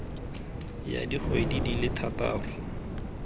ya dikgwedi di le thataro